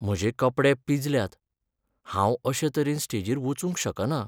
म्हजे कपडे पिंजल्यात. हांव अशे तरेन स्टेजीर वचूंक शकना.